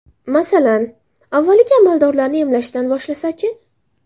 Masalan, avvaliga amaldorlarni emlashdan boshlasa-chi?